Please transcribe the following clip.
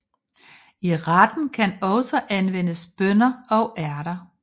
I retten kan også anvendes bønner og ærter